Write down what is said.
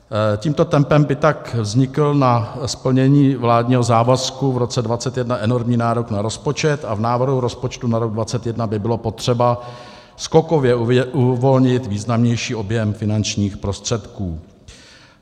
Tímto tempem by tak vznikl na splnění vládního závazku v roce 2021 enormní nárok na rozpočet a v návrhu rozpočtu na rok 2021 by bylo potřeba skokově uvolnit významnější objem finančních prostředků.